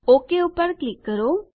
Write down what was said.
okay પર click કરો